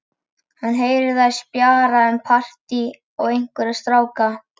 Hann heyrir að þær spjalla um partí og einhverja stráka.